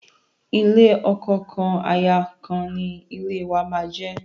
Ilé ọkọ kan, aya kan ni ilé wàá máa jẹ́.